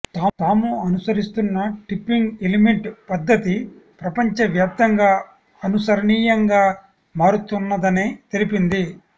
తాము అనుసరిస్తున్న tipping element పద్ధతి ప్రపంచవ్యాప్తంగా ఆనుసరణీయంగా మారుతున్నదని తెలిపింది